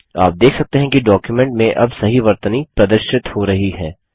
आप देख सकते हैं कि डॉक्युमेंट में अब सही वर्तनी प्रदर्शित हो रही है